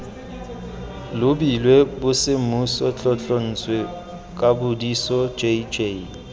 lebilwe bosemmuso tlotlontswe kapodiso jj